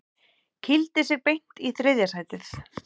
Kýldi sig beint í þriðja sætið